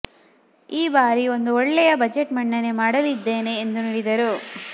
ಈ ಬಾರಿ ಒಂದು ಒಳ್ಳೆಯ ಬಜೆಟ್ ಮಂಡನೆ ಮಾಡಲಿದ್ದೇನೆ ಎಂದು ನುಡಿದರು